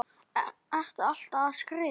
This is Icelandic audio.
Ertu alltaf að skrifa?